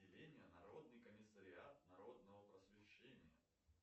народный комиссариат народного просвещения